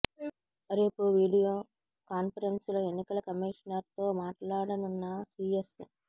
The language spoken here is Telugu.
రేపు వీడియో కాన్ఫరెన్స్ లో ఎన్నికల కమీషనర్ తో మాట్లాడనున్న సీఎస్